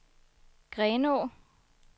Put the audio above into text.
Grenå